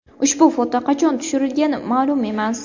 Ushbu foto qachon tushirilgani ma’lum emas.